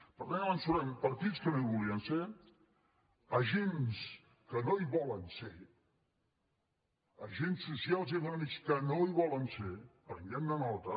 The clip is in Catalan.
per tant partits que no hi volien ser agents que no hi volen ser agents socials i econòmics que no hi volen ser prenguem ne nota